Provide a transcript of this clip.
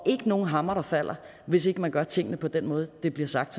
ikke nogen hammer der falder hvis ikke man gør tingene på den måde det bliver sagt